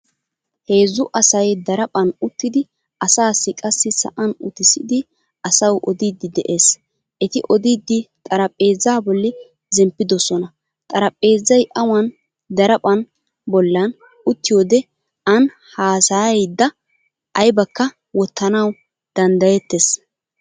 Heezzu asay daraphphan uttidi asaassi qassi sa'an uttissidi asawu odiiddi de'es. Eti odiiddi xaraphpheezzaa bolli zemppidosona xarapheezzay awan daraphphan bollan uttiyoode ani haasayayidda aybakka wottanawu danddayettes.